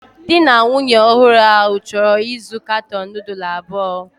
Di na nwunye ọhụrụ ahụ chọrọ ịzụ katọn nudulu abụọ